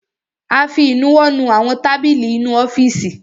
A fi ìnuwọ́ nu àwọn tábìlì inú ọ́fìsì.